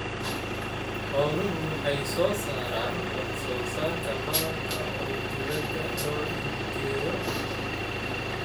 Xooluhu waxay soo saaraan wax-soo-saarka malabka oo dibadda loo iibgeeyo.